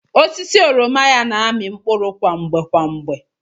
Osisi oroma ya na-ami mkpụrụ kwa mgbe kwa mgbe.